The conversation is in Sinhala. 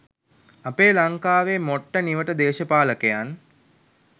අපේ ලංකාවේ මොට්ට නිවට දේශපාලකයන්